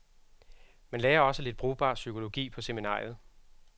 Man lærer også lidt brugbar psykologi på seminariet.